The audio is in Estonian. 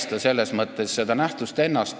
Me ei halvusta seda nähtust ennast.